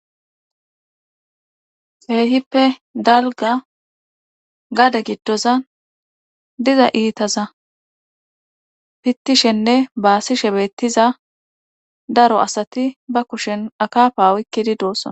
Keehippe dalga gade giddoza diza iitaza pittishenne baasishebettiza daro asati ba kushen akapa wikkidi doossona.